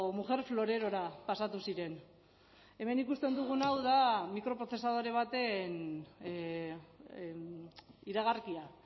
mujer florerora pasatu ziren hemen ikusten dugun hau da mikroprozesadore baten iragarkia